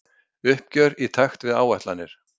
Uppgjör í takt við áætlanir